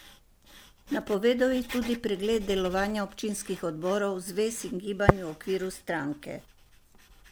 Napovedal je tudi pregled delovanja občinskih odborov, zvez in gibanj v okviru stranke.